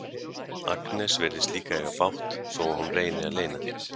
Agnes virðist líka eiga bágt þó að hún reyni að leyna því.